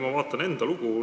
Ma vaatan enda lugu.